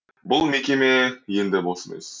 бұл мекеме енді бос емес